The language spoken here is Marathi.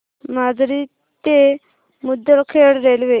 माजरी ते मुदखेड रेल्वे